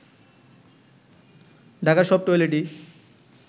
ঢাকার সব টয়লেটই